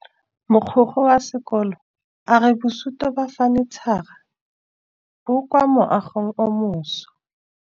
Mogokgo wa sekolo a re bosutô ba fanitšhara bo kwa moagong o mošwa.